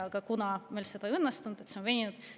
Aga kuna meil see ei õnnestunud, siis see on veninud.